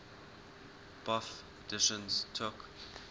bofh editions took